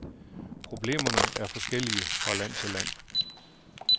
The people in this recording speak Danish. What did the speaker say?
Problemerne er forskellige fra land til land.